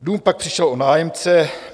Dům pak přišel o nájemce.